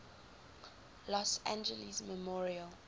los angeles memorial